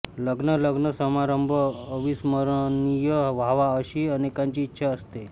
लग्न लग्न समारंभ अविस्मरणीय व्हावा अशी अनेकांची इच्छा असते